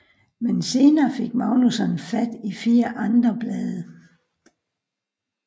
Men senere fik Magnússon fat i fire andre blade